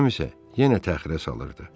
Axşam isə yenə təxirə salırdı.